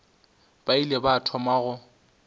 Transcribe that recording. ba ile ba thoma go